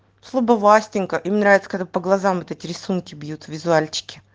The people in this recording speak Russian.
слабо власенко им нравится когда по глазам этот рисунки бьют визуал